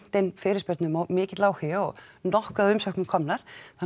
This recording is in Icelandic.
inn fyrirspurnum og mikill áhugi og nokkuð af umsóknum komnar